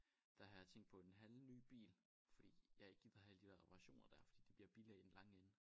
Der har jeg tænkt på en halvny bil fordi jeg ikke gider have alle de der reparationer der fordi det bliver billigere i den lange ende